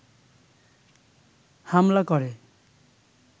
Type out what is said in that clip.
হামলা করে